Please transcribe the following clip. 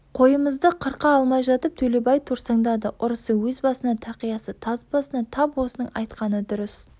қойымызды қырқа алмай жатып төлебай торсаңдады ұрысы өз басына тақиясы таз басына тап осының айтқаны дұрыс